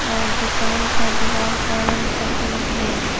और दुकान का दीवाल का रंग सफेद है।